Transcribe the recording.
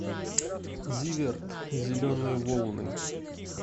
зиверт зеленые волны